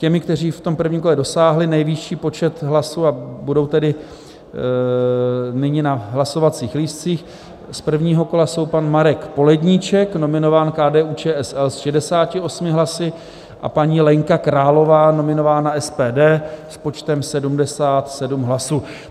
Těmi, kteří v tom prvním kole dosáhli nejvyšší počet hlasů, a budou tedy nyní na hlasovacích lístcích, z prvního kola jsou: pan Marek Poledníček, nominován KDU-ČSL, s 68 hlasy, a paní Lenka Králová, nominována SPD, s počtem 77 hlasů.